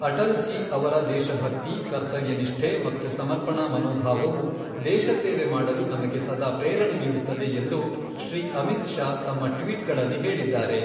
ಅಟಲ್ ಜೀ ಅವರ ದೇಶಭಕ್ತಿ, ಕರ್ತವ್ಯನಿಷ್ಠೆ ಮತ್ತು ಸಮರ್ಪಣಾ ಮನೋಭಾವವು ದೇಶ ಸೇವೆ ಮಾಡಲು ನಮಗೆ ಸದಾ ಪ್ರೇರಣೆ ನೀಡುತ್ತದೆ ಎಂದು ಶ್ರೀ ಅಮಿತ್ ಶಾ ತಮ್ಮ ಟ್ವೀಟ್ಗಳಲ್ಲಿ ಹೇಳಿದ್ದಾರೆ.